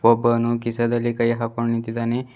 ಒಬ್ಬನು ಕಿಶೇದಲ್ಲಿ ಕೈ ಹಾಕೊಂಡು ನಿಂತಿದ್ದಾನೆ.